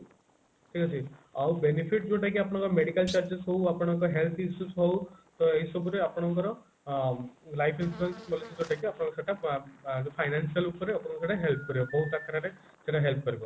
ଠିକ ଅଛି ଆଉ benefit ଯୋଉଟା କି ଆପଣଙ୍କର medical charges ହଉ ଆପଣଙ୍କ health issues ହଉ ତ ଏଇ ସବୁ ରେ ଆପଣଙ୍କର ଅ life insurance policy ଯୋଉଟା କି ଆପଣଙ୍କର ସେଇଟା ଅ ଅ financial ଉପରେ ଆପଣଙ୍କୁ ସେଇଟା help କରିବ ବହୁତ ଆକାରରେ ସେଇଟା help କରିବ